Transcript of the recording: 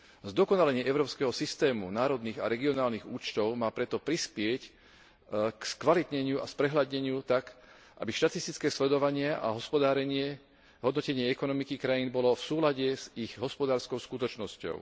Zdokonalenie európskeho systému národných a regionálnych účtov má preto prispieť k skvalitneniu a sprehľadneniu tak, aby štatistické sledovanie, hospodárenie a hodnotenie ekonomiky krajín bolo v súlade s ich hospodárskou skutočnosťou.